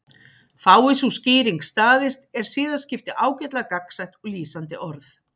Fái sú skýring staðist er siðaskipti ágætlega gagnsætt og lýsandi orð.